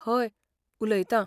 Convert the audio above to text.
हय, उलयतां.